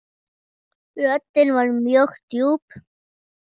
Röddin var mjög djúp.